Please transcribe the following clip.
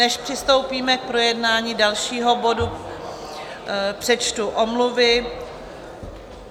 Než přistoupíme k projednání dalšího bodu, přečtu omluvy.